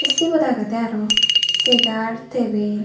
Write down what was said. siyot agede aro chegar tabil.